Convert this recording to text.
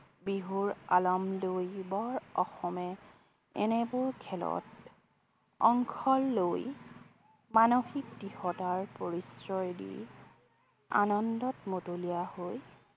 বিহুৰ আলাম লৈ বৰ অসমে এনেবোৰ খেলত অংশ লৈ মানসিক দৃঢ়তাৰ পৰিচয় দি আনন্দত মতলীয়া হৈ